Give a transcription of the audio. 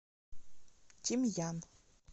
тимьян